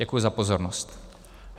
Děkuji za pozornost.